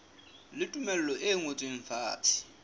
le tumello e ngotsweng fatshe